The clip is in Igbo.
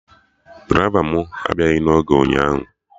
Draịva mụ abịaghị na oge ụnyaahụ